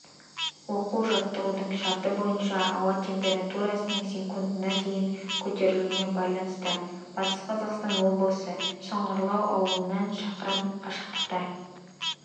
оқу-жаттығудың шарты бойынша ауа температурасының секундқа дейін көтерілуіне байланысты батыс қазақстан облысы шыңғырлау ауылынан шақырым қашықтықта